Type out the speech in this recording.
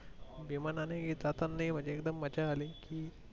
विमानांनी हि जातानीही म्हणजे एकदम मज्जा आली.